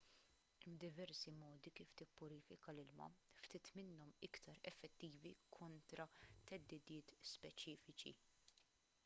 hemm diversi modi kif tippurifika l-ilma ftit minnhom iktar effettivi kontra theddidiet speċifiċi